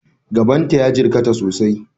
Gaban ta ya jirkata sosai.